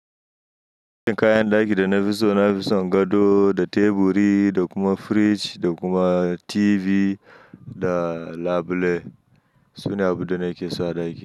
Kayan ɗaki da na fi so, na fi son gado da teburi da kuma firij da kuma TV da labule. Su ne abubuwan da nake so a ɗaki.